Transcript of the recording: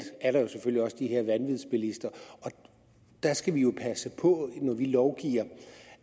også de her vanvidsbilister og der skal vi jo passe på når vi lovgiver